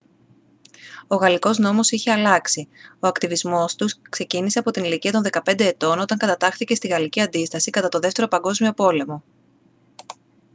ο γαλλικός νόμος είχε αλλάξει ο ακτιβισμός του ξεκίνησε από την ηλικία των 15 ετών όταν κατατάχθηκε στη γαλλική αντίσταση κατά τον δεύτερο παγκόσμιο πόλεμο